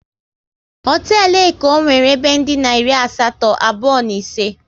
Hotelu Eko nwere ebe dina iri asatọ, abụọ na ise